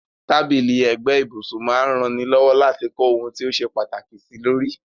Tábìlì ẹ̀gbẹ́ ibùsun máa n raní lọ́wọ́ láti kó oun ti o se pàtàkì sílórí